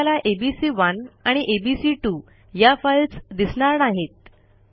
आपल्याला एबीसी1 आणि एबीसी2 या फाईल्स दिसणार नाहीत